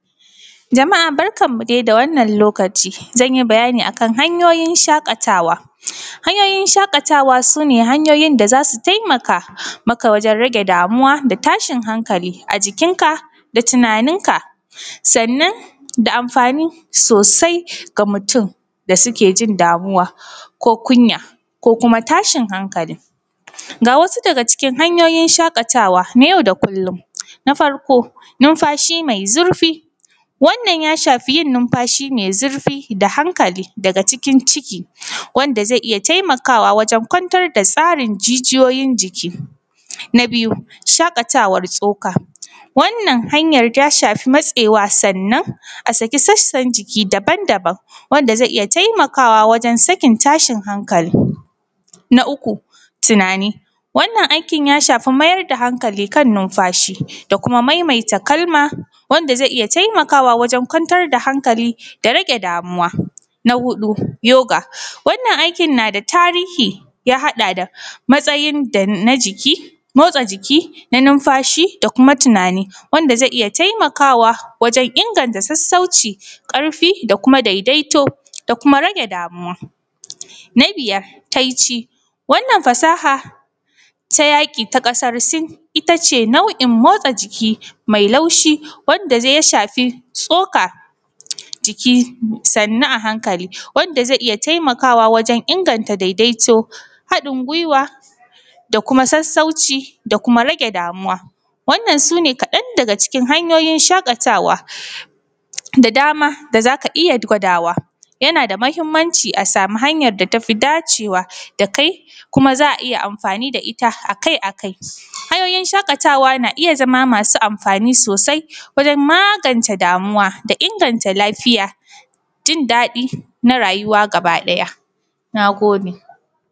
jama’a barkan mu dai da wannan lokaci zan yi bayani a kan hanyoyin shaƙatawa hanyoyin shaƙatawa sune hanyoyin da za su taimaka maka wajen rage damuwa da tashin hankali a jikin ka da tunanin ka sannan da amfani sosai ga mutum da suke jin damuwa ko kunya ko kuma tashin hankali ga wasu daga cikin hanyoyin shaƙatawa na yau da kullum na farko numfashi mai zurfi wannan ya shafi yin numfashi mai zurfi da hankali daga cikin ciki wanda zai iya taimakawa wajen kwantar da tsarin jijiyoyin jiki na biyu shaƙatawar tsoka wannan hanyar ta shafi matsewa sannan a saki sassar jiki daban daban wanda zai iya taimakawa wajan sakin tashin hankali na uku tunani wannan aikin ya shafi mayar da hankali kan numfashi da kuma maimaita kalma wanda zai iya taimakawa wajen kwantar da hankali da rage damuwa na huɗu yoga wannan aikin na da tarihi ya haɗa da matsayin da na jiki motsa jiki na numfashi da kuma tunani wanda zai iya taimakawa wajan inganta sassauci ƙarfi da kuma daidaito da kuma rage damuwa na biyar taici wannan fasaha ta yaƙi ta ƙasar sin ita ce nau’in motsa jiki mai laushi wadda zai shafi tsoka jiki sannu a hankali wanda zai iya taimakawa wajan inganta daidaito haɗin guiwa da kuma sassauci da kuma rage damuwa wannan su ne kadan daga cikin hanyoyin shaƙatawa da dama da za ka iya gwadawa yana da muhimmanci a samu hanyar da tafi dacewa da kai kuma za a iya amfani da ita a kai a kai hanyoyin shaƙatawa na iya zama masu amfani sosai wajen magance damuwa da inganta lafiya jindaɗi na rayuwa gaba ɗaya na gode